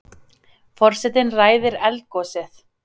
Forsetinn ræðir eldgosið